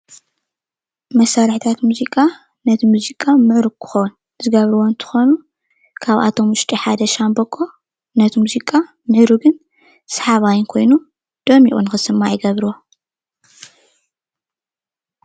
መሳርሕታት ሙዚቃ ነቲ ሙዚቃ ምዕሩግ ክኮን ዝገብርዎ እንትኮኑ ካብኣቶም ውሽጢ ሓደ ሻምብቆ ነቲ ሙዚቃ ምዕሩግን ሰሓባይን ኮይኑ ደሚቁ ንክስማዕ ይገብርዎ።